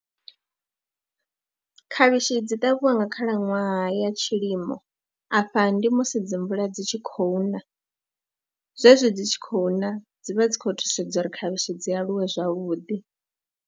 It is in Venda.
Khavhishi dzi ṱavhiwa nga khalaṅwaha ya tshilimo, afha ndi musi dzi mvula dzi tshi khou na, zwezwi dzi tshi khou na dzi vha dzi khou thusedza uri khavhishi dzi aluwe zwavhuḓi.